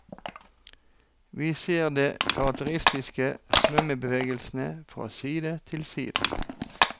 Vi ser de karakteristiske svømmebevegelsene fra side til side.